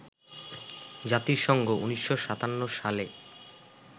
জাতিসংঘ ১৯৫৭ সালে